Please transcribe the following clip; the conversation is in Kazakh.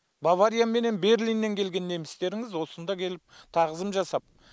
бавария менен берлиннен келген немістеріңіз осында келіп тағзым жасап